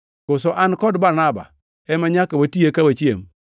Koso an kod Barnaba ema nyaka wati eka wachiem?